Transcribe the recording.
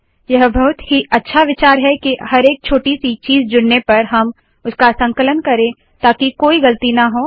यह बहुत ही अच्छा विचार है के हर एक छोटी सी चीज़ जुड़ने पर हम उसका संकलन करे ताकि कोई गलती ना हो